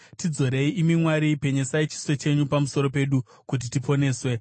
Tidzorei, imi Mwari, penyesai chiso chenyu pamusoro pedu, kuti tiponeswe.